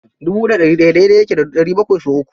Dubu da ɗari ɗaya daidai yake da ɗari bakwai sau uku.